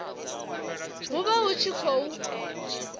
hu vha hu tshi khou